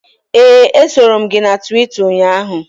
Ee, esoro m gị na Twita ụnyaahụ